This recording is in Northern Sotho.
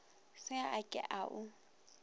se a ke a o